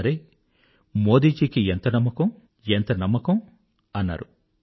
అరె మోదీజీ కి ఎంత కాన్ఫిడెన్స్ ఎంత నమ్మకం అన్నారు